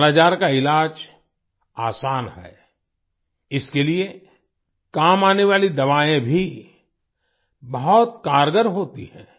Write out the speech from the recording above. कालाजार का इलाज आसान है इसके लिए काम आने वाली दवाएं भी बहुत कारगर होती हैं